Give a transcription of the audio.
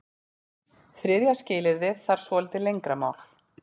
Þriðja skilyrðið þarf svolítið lengra mál.